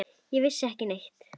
Við vissum ekki neitt.